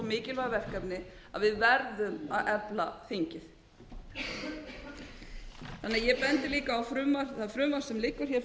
mikilvæg verkefni að við verðum að efla þingið ég bendi líka á það frumvarp sem liggur fyrir